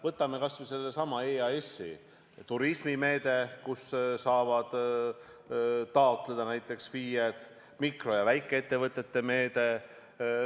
Võtame kas või sellesama EAS-i: turismimeede, kust saavad raha taotleda näiteks FIE-d, mikro- ja väikeettevõtete meede.